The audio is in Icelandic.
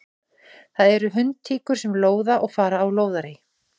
Það eru hundtíkur sem lóða og fara á lóðarí.